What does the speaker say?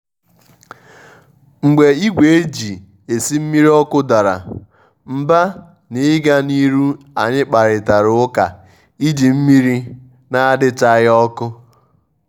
mgbé ìgwè éjí èsí mmírí ọ́kụ́ dàrá mbá n’ígá n’írú ànyị́ kpárítàrá ụ́ká íjí mmírí nà-àdíchághí ọ́kụ́.